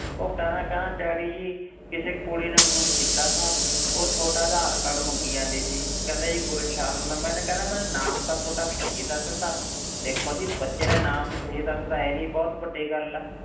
ਉਹ ਕਹਿੰਦਾ ਕਹਿੰਦਾ ਡੈਡੀ ਜੀ ਕਿਸੇ ਕੁੜੀ ਨੇ phone ਕੀਤਾ ਸੀ, ਉਹ ਤੁਹਾਡਾ ਆਧਾਰ ਕਾਰਡ ਮੰਗੀ ਜਾਂਦੀ ਸੀ, ਕਹਿੰਦਾ ਜੀ ਗੁਰਸ਼ਰਨ ਮੈਨੇ ਕਹਿੰਦਾ ਮੈਨੂੰ ਨਾਮ ਤਾਂ ਤੁਹਾਡਾ ਸਹੀ ਦੱਸ ਦਿੱਤਾ, ਵੇਖੋ ਜੀ ਬੱਚੇ ਨੇ ਨਾਮ ਹੀ ਸਹੀ ਦੱਸ ਦਿੱਤਾ ਇਹ ਹੀ ਬਹੁਤ ਵੱਡੀ ਗੱਲ ਹੈ,